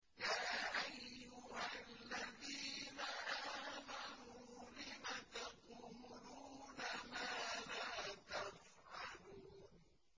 يَا أَيُّهَا الَّذِينَ آمَنُوا لِمَ تَقُولُونَ مَا لَا تَفْعَلُونَ